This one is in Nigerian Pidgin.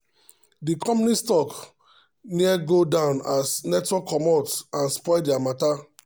the company stock near go down as network commot and spoil their matter.